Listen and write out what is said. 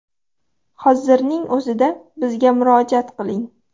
Hozirning o‘zida bizga murojaat qiling!